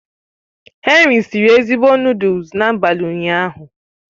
Henry siri ezigbo noodles n'abalị ụnyaahụ